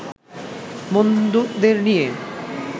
বন্ধুদের নিয়ে